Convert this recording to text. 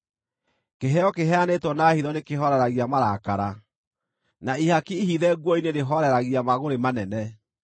Kĩheo kĩheanĩtwo na hitho nĩkĩhooreragia marakara, na ihaki ihithe nguo-inĩ rĩhooreragia mangʼũrĩ manene.